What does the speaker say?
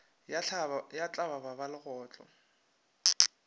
ya tlaba ba ga legotlo